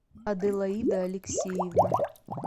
аделаида алексеевна